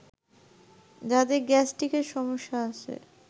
যাদের গ্যাস্ট্রিকের সমস্যা আছে